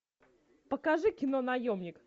покажи кино наемник